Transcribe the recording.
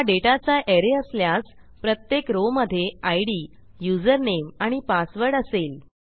हा डेटाचा arrayअसल्यास प्रत्येक रो मधे इद युझरनेम आणि पासवर्ड असेल